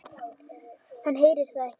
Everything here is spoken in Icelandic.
Hann heyrir það ekki.